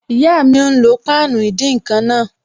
Ìyá mi n lo páànù ìdín-nǹkan náà